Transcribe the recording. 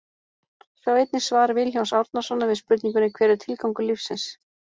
Sjá einnig svar Vilhjálms Árnasonar við spurningunni Hver er tilgangur lífsins?